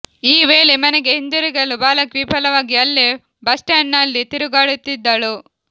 ಈ ವೇಳೆ ಮನೆಗೆ ಹಿಂತಿರುಗಲು ಬಾಲಕಿ ವಿಫಲವಾಗಿ ಅಲ್ಲೇ ಬಸ್ಸ್ಟ್ಯಾಂಡಿನಲ್ಲಿ ತಿರುಗಾಡುತ್ತಿದ್ದಳು